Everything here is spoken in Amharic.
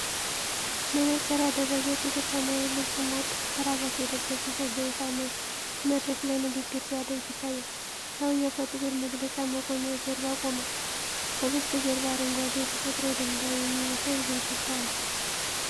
መነጽር ያደረገ፣ ጥቁር ሰማያዊ ልብስ እና ቀይ ክራባት የለበሰ ሰው በይፋ መድረክ ላይ ንግግር ሲያደርግ ይታያል። ሰውዬው ከጥቁር መግለጫ መቆሚያ ጀርባ ቆሟል። ከበስተጀርባ አረንጓዴ የተፈጥሮ ድንጋይ የሚመስል ግድግዳ አለ።